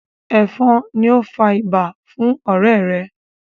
efon ní o fà ibà fún ọrẹ rè